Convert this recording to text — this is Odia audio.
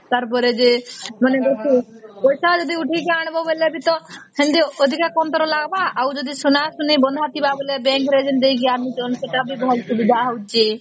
ତାର ପରେ ଯେ ମାନେ ଗୋଟେ ପଇସା ଯଦି ଉଠେଇକି ଆଣିବା ବେଳେ ବି ତ ସେମିତି ଅଧିକ କାନ୍ଦର ଲାଗିବା ଆଉ ଯଦି ସୁନା ସୁନି ବନ୍ଧା ଥିବା ବୋଲେ bank ରେ ଯେମିତି ଦେଇକି ଅଣୁଛନ ସେଟ ବି ଭଲ ସୁବିଧା ହଉଚି